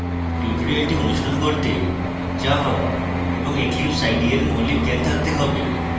tutorial অনুসরণ করতে java এবং eclipse ide এর মৌলিক জ্ঞান থাকতে have